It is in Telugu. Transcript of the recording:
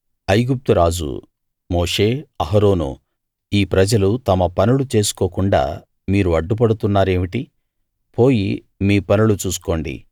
ఐగుప్తు రాజు మోషే అహరోనూ ఈ ప్రజలు తమ పనులు చేసుకోకుండా మీరు అడ్డు పడుతున్నారేమిటి పోయి మీ పనులు చూసుకోండి